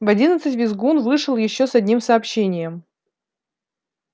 в одиннадцать визгун вышел ещё с одним сообщением